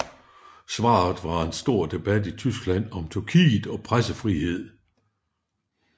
Svaret var en stor debat i Tyskland om Tyrkiet og pressefrihed